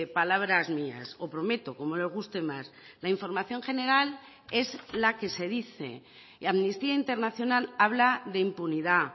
palabras mías o prometo como le guste más la información general es la que se dice y amnistía internacional habla de impunidad